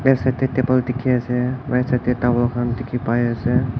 side side te table dekhi ase right side te tawol dekhi pai as.